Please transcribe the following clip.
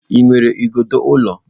Ị nwere igodo ụlọ?